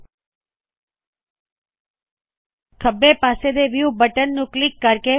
ਉਪਰਲੇ ਖੱਬੇ ਪਾਸੇ ਵਿਊ ਬਟਨ ਨੂ ਕਲਿੱਕ ਕਰੋ